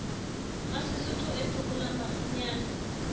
wa sesotho o phekolang mafunyana